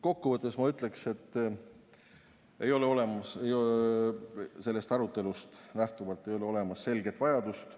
Kokkuvõtteks ütleksin, et sellest arutelust lähtuvalt ei ole olemas sellist selget vajadust.